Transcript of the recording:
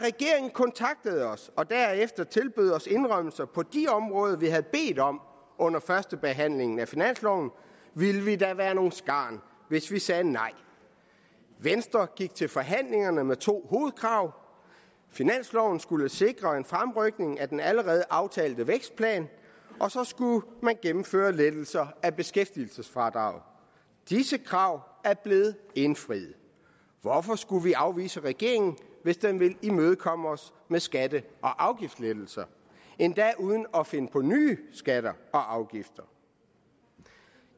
kontaktede os og derefter tilbød os indrømmelser på de områder vi havde bedt om under førstebehandlingen af finansloven ville vi da være nogle skarn hvis vi sagde nej venstre gik til forhandlingerne med to hovedkrav finansloven skulle sikre en fremrykning af den allerede aftalte vækstplan og så skulle man gennemføre lettelser af beskæftigelsesfradraget disse krav er blevet indfriet hvorfor skulle vi afvise regeringen hvis den vil imødekomme os med skatte og afgiftslettelser endda uden at finde på nye skatter og afgifter